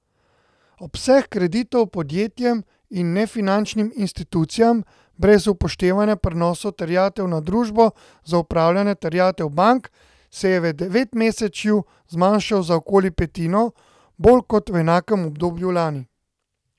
Obseg kreditov podjetjem in nefinančnim institucijam, brez upoštevanja prenosov terjatev na Družbo za upravljanje terjatev bank, se je v devetmesečju zmanjšal za okoli petino bolj kot v enakem obdobju lani.